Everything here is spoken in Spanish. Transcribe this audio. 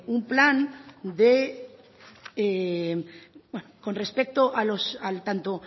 un plan